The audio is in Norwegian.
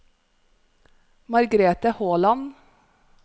Margrete Håland